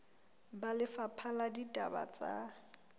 ba lefapha la ditaba tsa